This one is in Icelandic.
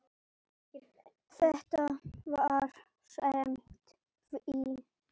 Þetta var samt fínn skóli.